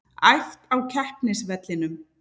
Æft á keppnisvellinum